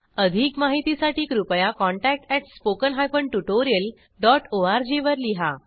अधिक माहितीसाठी कृपया contactspoken tutorialorg वर लिहा